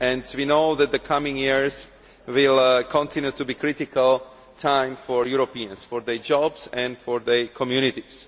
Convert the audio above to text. We know that the coming years will continue to be a critical time for Europeans, for their jobs and for their communities.